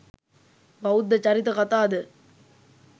බෞද්ධ චරිත කතා ද